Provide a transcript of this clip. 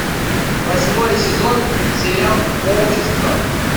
восьмой сезон сериал общество